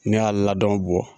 Ne y'a ladɔn bɔ.